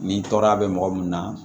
Ni tɔɔrɔya bɛ mɔgɔ min na